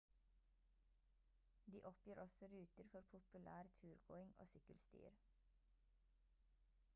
de oppgir også ruter for populær turgåing og sykkelstier